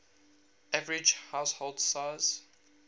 average household size